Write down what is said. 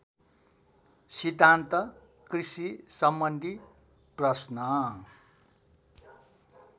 सिद्धान्त कृषिसम्बन्धी प्रश्न